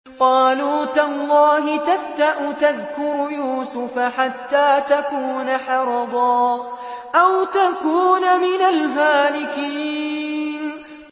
قَالُوا تَاللَّهِ تَفْتَأُ تَذْكُرُ يُوسُفَ حَتَّىٰ تَكُونَ حَرَضًا أَوْ تَكُونَ مِنَ الْهَالِكِينَ